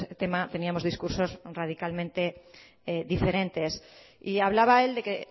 tema teníamos discursos radicalmente diferentes y hablaba él de que